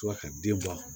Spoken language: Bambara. Tora ka den bɔ a kɔnɔ